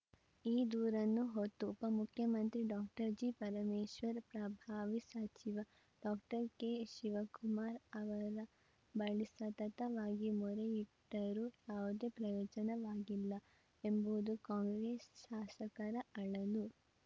ಈ ದೂರನ್ನು ಹೊತ್ತು ಉಪ ಮುಖ್ಯಮಂತ್ರಿ ಡಾಕ್ಟರ್ ಜಿಪರಮೇಶ್ವರ್‌ ಪ್ರಭಾವಿ ಸಚಿವ ಡಿಕೆಶಿವಕುಮಾರ್‌ ಅವರ ಬಳಿ ಸತತವಾಗಿ ಮೊರೆಯಿಟ್ಟರೂ ಅವುದೇ ಪ್ರಯೋಜನವಾಗಿಲ್ಲ ಎಂಬುದು ಕಾಂಗ್ರೆಸ್‌ ಶಾಸಕರ ಅಳಲು